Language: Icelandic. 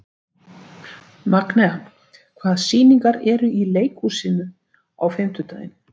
Magnea, hvaða sýningar eru í leikhúsinu á fimmtudaginn?